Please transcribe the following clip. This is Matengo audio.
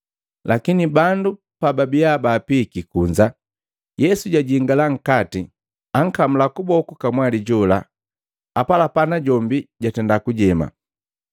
Lakini bandu pababiya baapiiki kunza, Yesu jajingala nkati ankamula kuboku kamwali jola, apalapa najombi jatenda kujema.